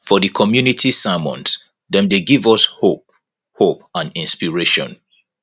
for di community sermons dem dey give us hope hope and inspiration